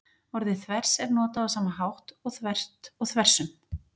Orðið þvers er notað á sama hátt og þvert og þversum.